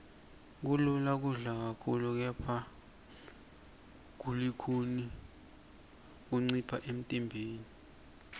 kulula kudla kakhulu kepha kulukhuni kuncipha emntimbeni